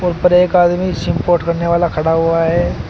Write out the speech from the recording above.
और ऊपर एक आदमी सिम पोर्ट करने वाला खड़ा हुआ है।